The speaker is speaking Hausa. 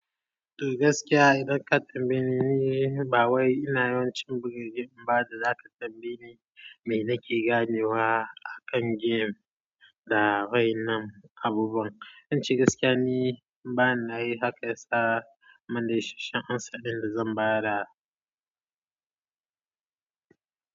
To gaskiya idan ka tambaye ni, ba wai ina yawancin buga game, ba da za ka tambaye ni me nake ganewa akan game da wayannan abubuwa. Zan ce gaskiya ne bana yi haka, ya sa manashsashan ansan da zan ba da.